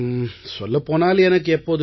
சொல்லப் போனால் எனக்கு எப்போதுமே